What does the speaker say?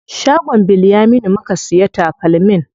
Shagon Bilyaminu muka siya takalmin.